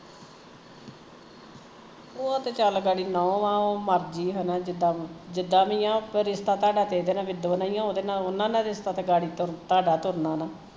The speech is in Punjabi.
ਓਹ ਤੇ ਚੱਲ ਗਾੜੀ ਨੂਹ ਓਹ ਮਰਜ਼ੀ ਆ ਹੈਨਾ ਜਿਦਾ ਜਿੱਦਾ ਵੀ ਆ ਪਰ ਰਿਸਤਾ ਤਹੁੱਡਾ ਇਹਦੇ ਨਾਲ ਮਿੰਦੋ ਨਾਲ਼ ਈ ਆ ਉਹਦੇ ਨਾਲ਼ ਉਹਨਾ ਨਾਲ਼ ਤਾਂ ਰਿਸਤਾ ਗਾੜੀ ਤਹੁੱਡਾ ਤੁਰਨਾ ਨਾ